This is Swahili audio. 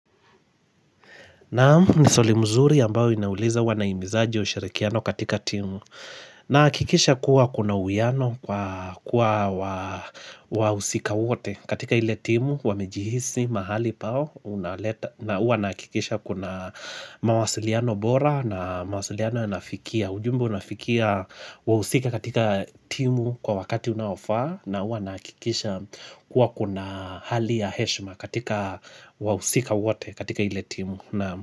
Naamu ni swali mzuri ambao inauliza wanaimizaji usharikiano katika timu na akikisha kuwa kuna uiano kwa wahusika wote katika ile timu wamejihisi mahali pao na uwa nakikisha kuna mawasiliano bora na mawasiliano nafikia ujumbe unafikia wahusika katika timu kwa wakati unaofaa. Na huwa nahakikisha kuwa kuna hali ya heshima katika wahusika wote katika ile timu naam.